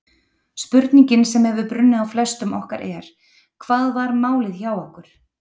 Spurningin sem hefur brunnið á flestum okkar er: Hvað var málið hjá okkur?